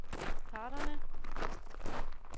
parterne